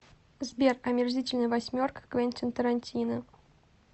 сбер омерзительная восьмерка квентин тарантино